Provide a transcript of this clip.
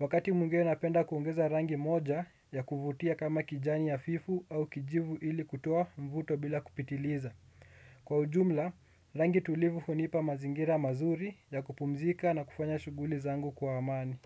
Wakati mwingine napenda kuongeza rangi moja ya kuvutia kama kijani hafifu au kijivu ili kutoa mvuto bila kupitiliza. Kwa ujumla, rangi tulivu hunipa mazingira mazuri ya kupumzika na kufanya shughuli zangu kwa amani.